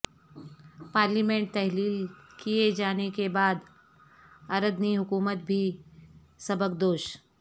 parliament تحلیل کیے جانے کے بعد اردنی حکومت بھی سبکدوش